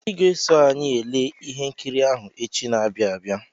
Ị ga-eso anyị ele ihe nkiri ahụ echi na-abịa abịa.